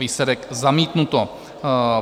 Výsledek: zamítnuto.